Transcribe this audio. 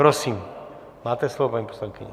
Prosím, máte slovo, paní poslankyně.